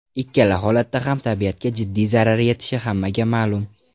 Ikkala holatda ham tabiatga jiddiy zarar yetishi hammaga ma’lum.